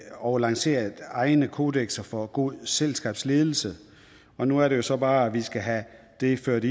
og lanceret egne kodekser for god selskabsledelse og nu er det så bare at vi skal have det indført